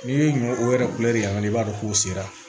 N'i ye ɲɔ o yɛrɛ yani i b'a dɔn k'u sera